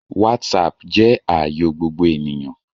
Whatsapp jẹ́ ààyò gbogbo ènìyàn